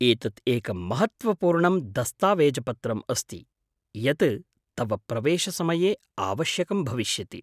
एतत् एकं महत्त्वपूर्णं दस्तावेजपत्रम् अस्ति यत् तव प्रवेशसमये आवश्यकं भविष्यति।